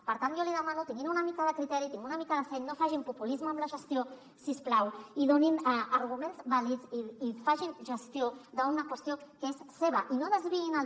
per tant jo li demano que tinguin una mica de criteri tinguin una mica de seny no facin populisme amb la gestió si us plau i donin arguments vàlids i facin gestió d’una qüestió que és seva i no des viïn el